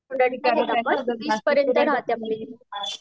त्या ठिकाणी आपण वीस पर्यंत राहेत आपली